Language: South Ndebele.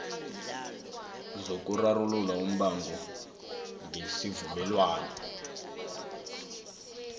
zokurarulula umbango ngesivumelwano